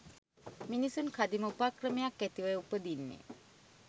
මිනිසුන් කදිම උපක්‍රමයක් ඇතිවයි උපදින්නෙ.